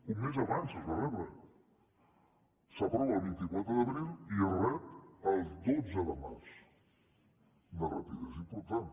un mes abans es va rebre s’aprova el vint quatre d’abril i es rep el dotze de març una rapidesa important